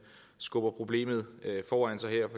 skubber problemet foran sig her